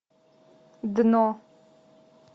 дно